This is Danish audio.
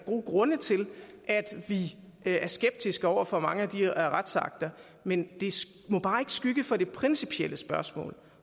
gode grunde til at vi er skeptiske over for mange af de her retsakter men det må bare ikke skygge for det principielle spørgsmål